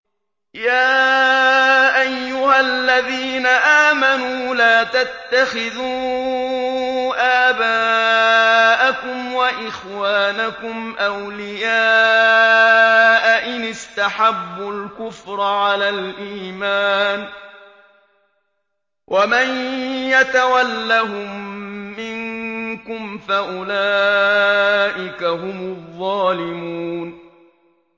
يَا أَيُّهَا الَّذِينَ آمَنُوا لَا تَتَّخِذُوا آبَاءَكُمْ وَإِخْوَانَكُمْ أَوْلِيَاءَ إِنِ اسْتَحَبُّوا الْكُفْرَ عَلَى الْإِيمَانِ ۚ وَمَن يَتَوَلَّهُم مِّنكُمْ فَأُولَٰئِكَ هُمُ الظَّالِمُونَ